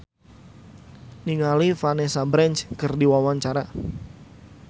Ivan Permana olohok ningali Vanessa Branch keur diwawancara